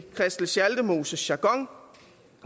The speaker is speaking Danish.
christel schaldemoses jargon